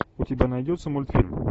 у тебя найдется мультфильм